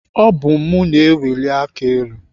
Ọ bụ mụ na-eweli aka elu.